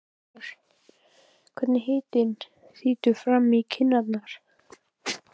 Hann finnur hvernig hitinn þýtur fram í kinnar.